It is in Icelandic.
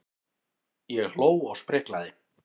Ég hló og spriklaði.